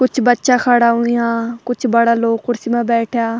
कुछ बच्चा खड़ा हुयां कुछ बड़ा लोग कुर्सी मा बैठ्याँ।